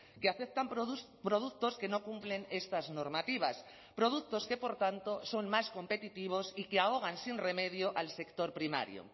que aceptan productos que no cumplen estas normativas productos que por tanto son más competitivos y que ahogan sin remedio al sector primario